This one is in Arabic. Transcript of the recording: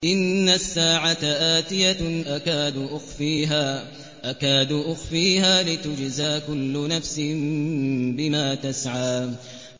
إِنَّ السَّاعَةَ آتِيَةٌ أَكَادُ أُخْفِيهَا لِتُجْزَىٰ كُلُّ نَفْسٍ بِمَا تَسْعَىٰ